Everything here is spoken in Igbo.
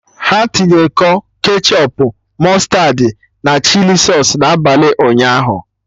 Ha tinye kọ ketchọp, mụstardị, na chili sausụ n'abalị ụnyaahụ